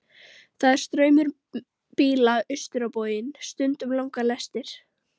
Það er straumur bíla austur á bóginn, stundum langar lestir.